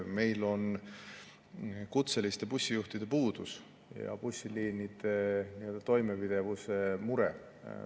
Meil on kutseliste bussijuhtide puudus ja bussiliinide toimepidevuse mure.